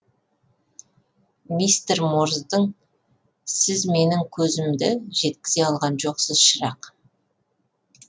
мистер морздың сіз меңің көзімді жеткізе алған жоқсыз шырақ